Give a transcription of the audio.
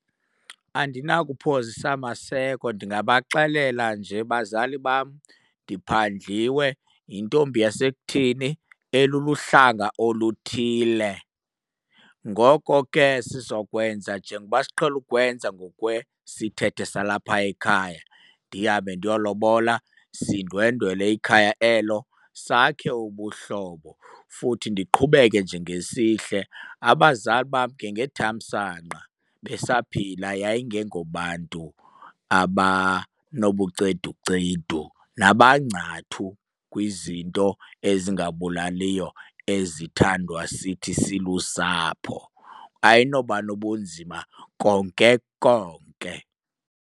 Andinakuphozisa maseko ndingabaxelela nje, bazali bam ndiphandliwe yintombi yasekuthini eluluhlanga oluthile. Ngoko ke sizokwenza njengoba siqhele ukwenza ngokwesithethe salapha ekhaya, ndihambe ndiyolobola sindwendwele ikhaya elo, sakhe ubuhlobo futhi ndiqhubeke nje ngesihle. Abazali bam ngethamsanqa besaphila yayingengobantu abanobuceducedu nabangcathu kwizinto ezingabulaliyo ezithandwa sithi silusapho. Ayinoba nobunzima konke konke.